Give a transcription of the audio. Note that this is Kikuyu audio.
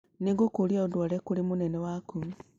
Nĩ ngũkũria ũndware kũrĩ mũnene waku.